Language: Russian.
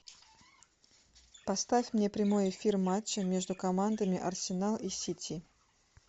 поставь мне прямой эфир матча между командами арсенал и сити